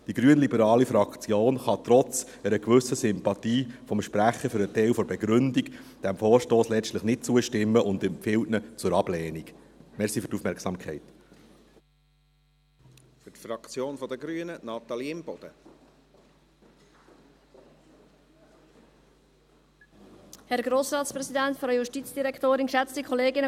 Die grünliberale Fraktion kann trotz einer gewissen Sympathie des Sprechers für einen Teil der Begründung dem Vorstoss letztlich nicht zustimmen und empfiehlt diesen zur Ablehnung.